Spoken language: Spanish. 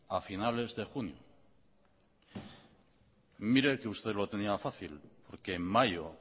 a finales de junio mire que usted lo tenía fácil porque en mayo